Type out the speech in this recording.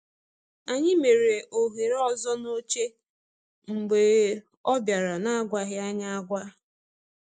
Anyị mere ohere ọzọ n’oche mgbe ọ bịara n’agwaghị anyị agwa.